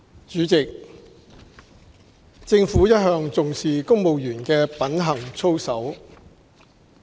主席，政府一向重視公務員的品行操守。